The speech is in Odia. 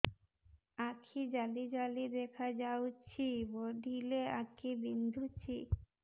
ଆଖି ଜାଲି ଜାଲି ଦେଖାଯାଉଛି ପଢିଲେ ଆଖି ବିନ୍ଧୁଛି